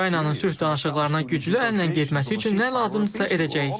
Ukraynanın sülh danışıqlarına güclü əllə getməsi üçün nə lazımdırsa edəcəyik.